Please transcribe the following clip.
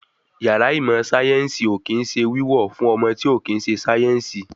Yàrá ìmọ̀ sáyẹ̀nsì ò kín ń ṣe wíwọ̀ fún ọmọ tí ò kín ń ṣe sáyẹ̀nsì